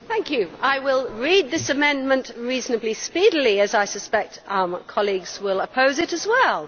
Mr President, I will read this amendment reasonably speedily as I suspect colleagues will oppose it as well.